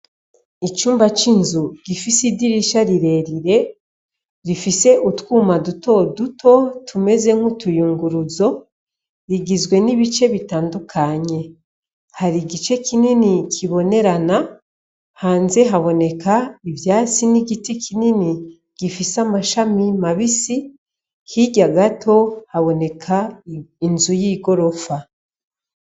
Icumba c'inzu gifise idirisha rirerire rifise utwuma duto duto tumeze nk'utuyunguruzo rigizwe n'ibice bitandukanye hari igice kinini kibonerana hanze haboneka ivyasi n'igiti kinini gifise amashamia mabisi hirya gato haboneka inzu y'i gorofa.